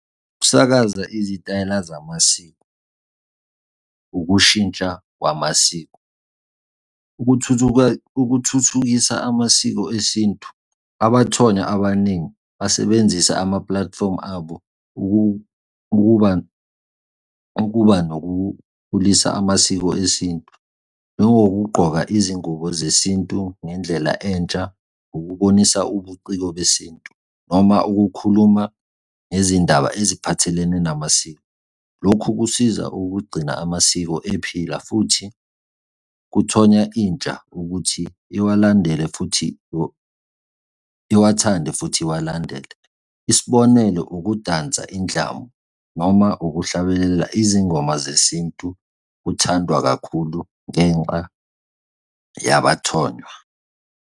Ukusakaza izitayela zamasiko, ukushintsha kwamasiko. Ukuthuthuka, ukuthuthukisa amasiko esintu. Abathonya abaningi basebenzisa ama-platform abo ukuba, ukuba nokukhulisa amasiko esintu. Njengokugqoka izingubo zesintu ngendlela entsha, ukubonisa ubuciko besintu noma ukukhuluma ngezindaba eziphathelene namasiko. Lokhu kusiza ukugcina amasiko ephila futhi kuthonya intsha ukuthi iwalandele futhi iwathande futhi uwalandele. Isibonelo, ukudansa indlamu, noma ukuhlabelela izingoma zesintu kuthandwa kakhulu ngenxa yabathonywa.